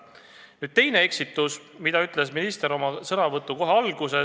Nüüd teine eksitus, mille minister tegi kohe oma sõnavõtu alguses.